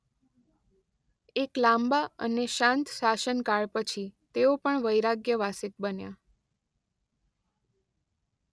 એક લાંબા અને શાંત શાસન કાળ પછી તેઓ પણ વૈરાગ્ય વાસિત બન્યા.